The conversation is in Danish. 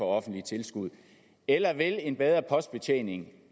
offentlige tilskud eller vil en bedre postbetjening